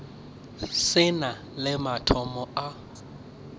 se na le mathomo a